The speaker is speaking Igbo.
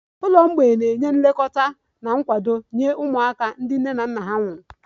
Ụlọ mgbei na-enye nlekọta na nkwado nye ụmụaka ndị nne na nna ha nwụrụ